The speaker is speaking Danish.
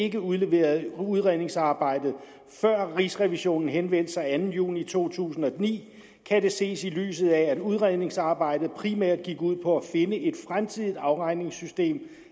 ikke udleverede udredningsarbejdet før rigsrevisionen henvendte sig den anden juni to tusind og ni kan det ses i lyset af at udredningsarbejdet primært gik ud på at finde et fremtidigt afregningssystem